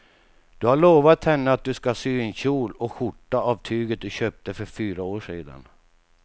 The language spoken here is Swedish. Du har lovat henne att du ska sy en kjol och skjorta av tyget du köpte för fyra år sedan.